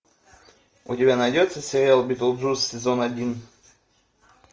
у тебя найдется сериал битлджус сезон один